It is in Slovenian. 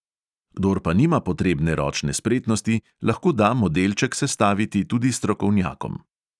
Kdor pa nima potrebne ročne spretnosti, lahko da modelček sestaviti tudi strokovnjakom.